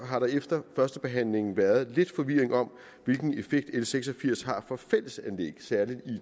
har der efter førstebehandlingen været lidt forvirring om hvilken effekt l seks og firs har for fællesanlæg særlig